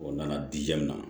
O nana diya min na